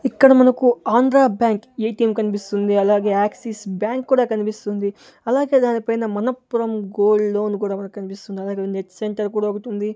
ఇక్కడ మనకు Andhra Bank ATM కన్పిస్తుంది అలాగే యాక్సిస్ బ్యాంక్ కూడా కనిపిస్తుంది అలాగే దాని పైన మనప్పురం గోల్డ్ లోన్ కూడా మనకు కనిపిస్తుంది అలాగే నెట్ సెంటర్ కూడా ఒకటి ఉంది.